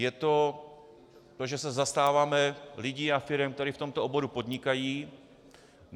Je to to, že se zastáváme lidí a firem, které v tomto oboru podnikají.